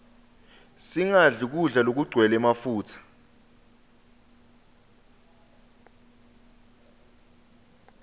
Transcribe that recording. singadli kudla lokugcwele mafutsa